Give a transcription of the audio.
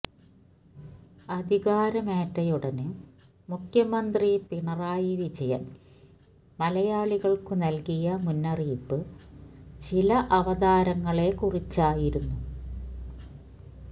അധികാരമേറ്റയുടന് മുഖ്യമന്ത്രി പിണറായി വിജയന് മലയാളികള്ക്കു നല്കിയ മുന്നറിയിപ്പ് ചില അവതാരങ്ങളെക്കുറിച്ചായിരുന്നു